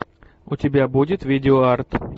у тебя будет видеоарт